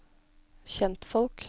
kjentfolk